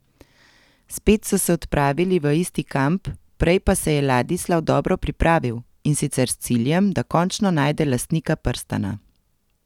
Spet so se odpravili v isti kamp, prej pa se je Ladislav dobro pripravil, in sicer s ciljem, da končno najde lastnika prstana.